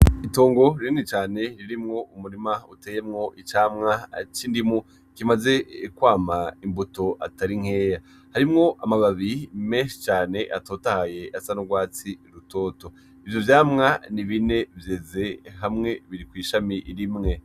Itongo rinini cane ririmwo umurima uteyemwo icamwa c'indimu kimaze kwama imbuto atari nkeya, harimwo amababi menshi cane atotahaye asa n'urwatsi rutoto, ivyo vyamwa ni bine vyeze hamwe biri kw'ishami rimwe.